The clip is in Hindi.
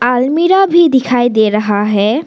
अलमीरा भी दिखाई दे रहा है।